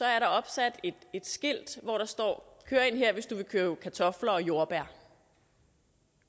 er opsat skilte hvor der står kør ind her hvis du vil købe kartofler og jordbær